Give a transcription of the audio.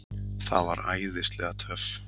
Það var æðislega töff.